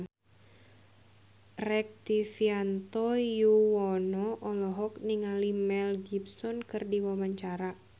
Rektivianto Yoewono olohok ningali Mel Gibson keur diwawancara